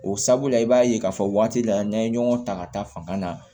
O sabula i b'a ye k'a fɔ waati la n'an ye ɲɔgɔn ta ka taa fanga na